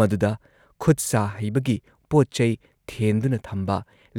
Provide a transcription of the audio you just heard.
ꯃꯗꯨꯗ ꯈꯨꯠ-ꯁꯥ ꯍꯩꯕꯒꯤ ꯄꯣꯠ-ꯆꯩ ꯊꯦꯟꯗꯨꯅ ꯊꯝꯕ,